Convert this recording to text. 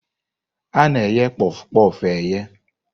A na-eghe kpof kpof eghe.